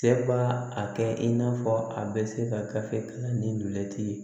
Cɛ b'a a kɛ i n'a fɔ a bɛ se ka gafe kalan ni dulɛti ye